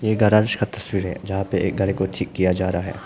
यह गराज का तस्वीर है जहां पे एक गाड़ी को ठीक किया जा रहा है।